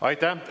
Aitäh!